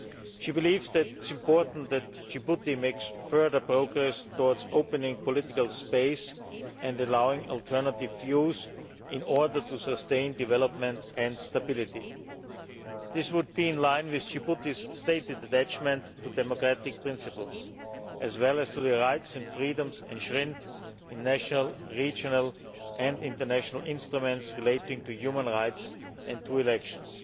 She believes that it is important that Djibouti makes further progress towards opening political space and allowing alternative views in order to sustain development and stability. This would be in line with Djibouti's stated attachment to democratic principles, as well as to the rights and freedoms enshrined in national, regional and international instruments relating to human rights and to elections.